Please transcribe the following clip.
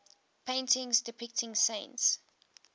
paintings depicting saints